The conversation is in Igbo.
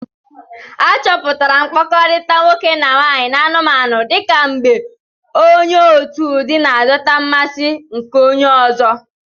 A chọpụtara mkpakọrịta nwoke na nwaanyị n'anụmanụ dị ka mgbe onye otu ụdị na-adọta mmasị nke onye ọzọ.